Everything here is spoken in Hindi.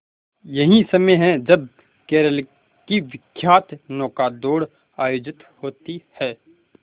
यही समय है जब केरल की विख्यात नौका दौड़ आयोजित होती है